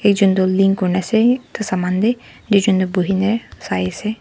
ekjun tu lean kurinase itu saman tey duijun tu nuhine sai ase.